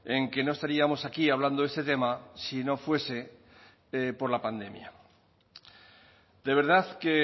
en que no estaríamos aquí hablando este tema si no fuese por la pandemia de verdad que